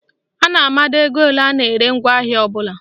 A na-amado ego ole a na-ere ngwaahịa ọbụla.